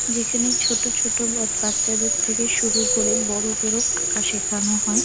যেখানে ছোট ছোট বট বাচ্চাদের থেকে শুরু করে বড়দেরও আঁকা শেখানো হয়।